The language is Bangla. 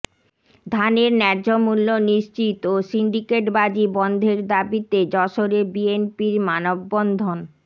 ধানের ন্যায্যমূল্য নিশ্চিত ও সিন্ডিকেটবাজি বন্ধের দাবিতে যশোরে বিএনপির মানববন্ধন